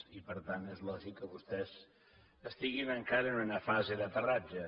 i per tant és lògic que vostès estiguin encara en una fase d’aterratge